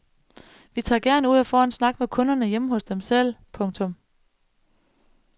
Vi tager gerne ud og får en snak med kunderne hjemme hos dem selv. punktum